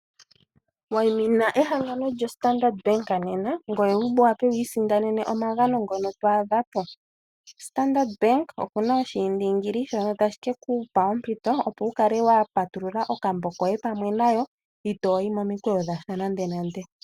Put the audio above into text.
Wayimina ehangano lyoStandard Bank nena ngoye wu wape wu isindanena omagano ngono to adha po. Standard Bank oku na oshiindingili shono tashi ke ku pa ompito, opo wu kale wa patulula okambo koye pamwe nayo itoo yi momikweyo dhasha nandenande.